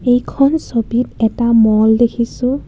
এইখন ছবিত এটা ম'ল দেখিছোঁ.